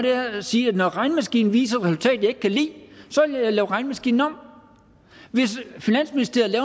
er at sige når regnemaskinen viser et resultat jeg ikke kan lide vil jeg lave regnemaskinen om hvis finansministeriet